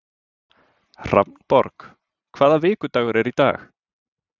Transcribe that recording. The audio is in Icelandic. Hrafnborg, hvaða vikudagur er í dag?